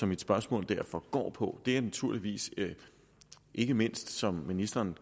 mit spørgsmål derfor går på er naturligvis ikke mindst som ministeren